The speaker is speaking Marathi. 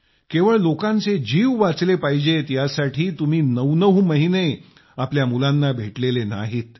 केवळ लोकांचे जीव वाचले पाहिजेत यासाठी तुम्ही नऊ नऊ महिने आपल्या मुलांना भेटलेले नाहीत